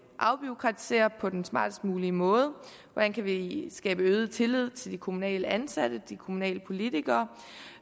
afbureaukratisere på den smartest mulige måde hvordan kan vi skabe øget tillid til de kommunalt ansatte de kommunale politikere